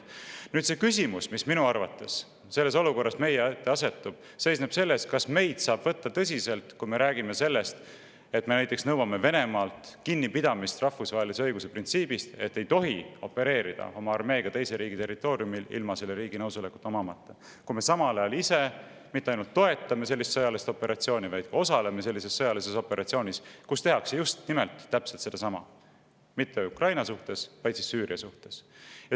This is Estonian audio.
Nüüd, see küsimus, mis minu arvates selles olukorras meie ette asetub, seisneb selles, kas meid saab võtta tõsiselt, kui me räägime näiteks sellest, et me nõuame Venemaalt rahvusvahelise õiguse printsiibist kinnipidamist, öeldes, et üks riik ei tohi opereerida oma armeega teise riigi territooriumil ilma selle riigi nõusolekut omamata, kui me samal ajal ise mitte ainult ei toeta sellist sõjalist operatsiooni, vaid ka osaleme sellises sõjalises operatsioonis, kus tehakse just nimelt täpselt sedasama – küll mitte Ukraina suhtes, vaid Süüria suhtes.